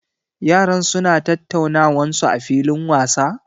Yaran su na tattaunawan su a filin wasa?